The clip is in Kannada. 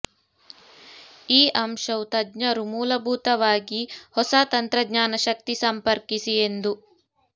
ಈ ಅಂಶವು ತಜ್ಞರು ಮೂಲಭೂತವಾಗಿ ಹೊಸ ತಂತ್ರಜ್ಞಾನ ಶಕ್ತಿ ಸಂಪರ್ಕಿಸಿ ಎಂದು